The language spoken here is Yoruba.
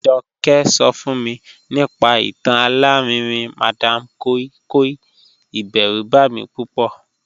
Joke so fun mi nipa itan alarinrin madam koi koi, iberu ba mi pupo.